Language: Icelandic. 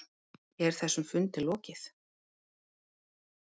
Er þessum fundi lokið?